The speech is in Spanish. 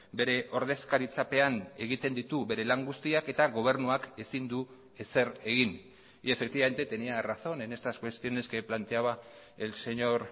bere ordezkaritzapean egiten ditu bere lan guztiak eta gobernuak ezin du ezer egin y efectivamente tenía razón en estas cuestiones que planteaba el señor